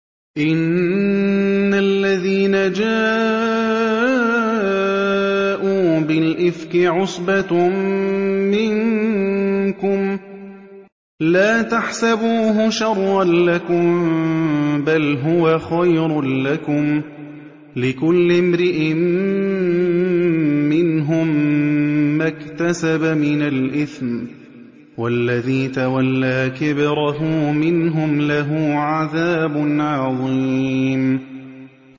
إِنَّ الَّذِينَ جَاءُوا بِالْإِفْكِ عُصْبَةٌ مِّنكُمْ ۚ لَا تَحْسَبُوهُ شَرًّا لَّكُم ۖ بَلْ هُوَ خَيْرٌ لَّكُمْ ۚ لِكُلِّ امْرِئٍ مِّنْهُم مَّا اكْتَسَبَ مِنَ الْإِثْمِ ۚ وَالَّذِي تَوَلَّىٰ كِبْرَهُ مِنْهُمْ لَهُ عَذَابٌ عَظِيمٌ